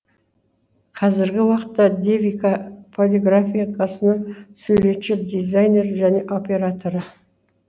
қазіргі уакытта девика полиграфикасының суретші дизайнері және операторы